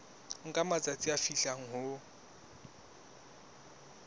nka matsatsi a fihlang ho